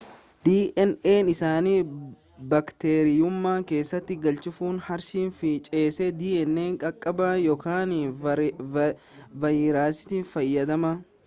dna isaanii baakteeriyeemu keessatti galchuuf haarshii fi chees dna caccaba ykn vaayirasii fayyadaman